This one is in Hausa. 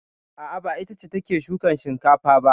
A'a, ba ita ce take shukan shinkafa ba.